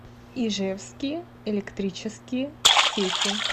ижевские электрические сети